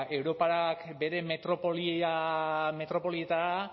europak bere metropolietara